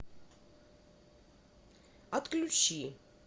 отключи